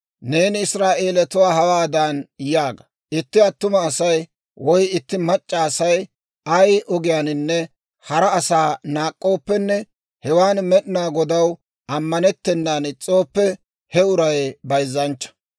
«Neeni Israa'eelatuwaa hawaadan yaaga; ‹Itti attuma Asay woy itti mac'c'a Asay ay ogiyaaninne hara asaa naak'k'ooppenne hewan Med'inaa Godaw ammanettennan is's'ooppe, he uray bayzzanchcha.